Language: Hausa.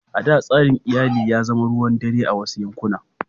A da, tsarin iyali ya zama ruwan dare a wasu yankuna.